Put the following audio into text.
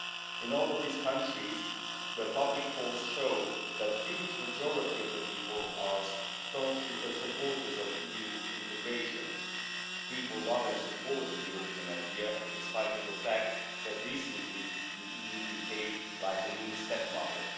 In all of these countries, the public polls show that a huge majority of the people are staunch supporters of EU integration. People love and support the European idea, in spite of the fact that recently the EU behaved like a mean stepmother.